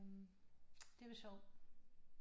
Det var sjovt